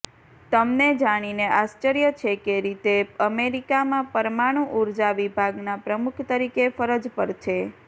તમને જાણીને આશ્વર્ય છે કે રીતે અમેરિકામાં પરમાણું ઉર્ઝા વિભાગના પ્રમુખ તરીકે ફરજ પર છે